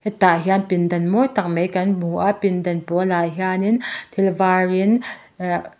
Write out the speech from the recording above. hetah hian pindan mawi tak mai kan hmu a pindan pawl ah hian in thik var in ahh--